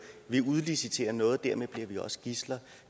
vi udliciterer noget og dermed bliver vi også gidsler